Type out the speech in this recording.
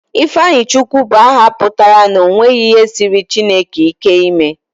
Ifeanyichukwu bụ aha pụtara 'o nweghi ihe siiri Chineke ike ime'